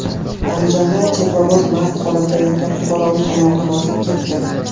Andijonda teplovoz mast holatda yotgan fuqaroning oyog‘ini bosib ketdi.